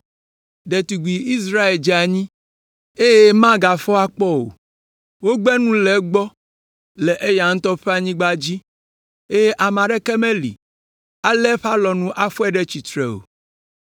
“Ɖetugbi Israel dze anyi, eye magafɔ akpɔ o. Wogbe nu le egbɔ le eya ŋutɔ ƒe anyigba dzi, eye ame aɖeke meli alé eƒe alɔnu afɔe ɖe tsitre o,